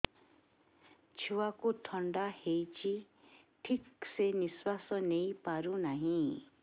ଛୁଆକୁ ଥଣ୍ଡା ହେଇଛି ଠିକ ସେ ନିଶ୍ୱାସ ନେଇ ପାରୁ ନାହିଁ